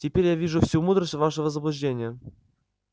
теперь я вижу всю мудрость вашего заблуждения